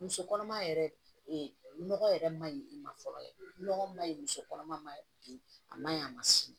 Muso kɔnɔma yɛrɛ nɔgɔ yɛrɛ man ɲi i ma fɔlɔ nɔgɔ man ɲi muso kɔnɔma ma bi a ma ɲi a ma s'i ma